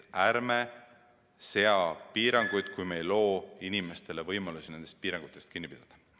Ärme seame piiranguid, kui me ei loo inimestele võimalusi nendest piirangutest kinni pidada.